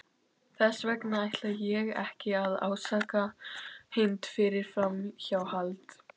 Þess vegna ætla ég ekki að ásaka Hind fyrir framhjáhald.